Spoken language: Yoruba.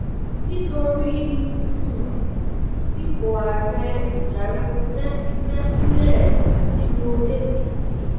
nítorí um ipò ààrẹ ìjà rẹpẹtẹ ti bẹ sílẹ nínú apc